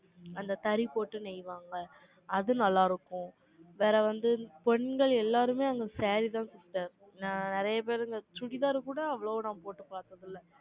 அந்த தறி போட்டு நெய்வாங்க. அது நல்லா இருக்கும். வேற வந்து, பெண்கள் எல்லாருமே, அந்த saree தான். நான் நிறைய பேரு, இந்த சுடிதார் கூட, அவ்வளவா நான் போட்டு பார்த்ததில்ல.